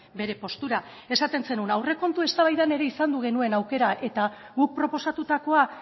bere postura esaten zenuen aurrekontu eztabaidan ere izan genuen aukera eta guk proposatutakoa